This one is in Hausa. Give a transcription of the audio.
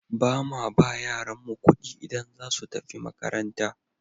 Ba ma ba yaranmu ƙuɗi idan za su tafi makaranta.